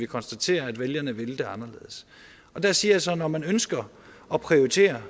konstatere at vælgerne ville det anderledes der siger jeg så at når man ønsker at prioritere